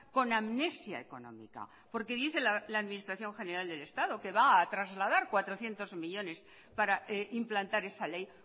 con amnesia económica porque dice la administración general del estado que va a trasladar cuatrocientos millónes para implantar esa ley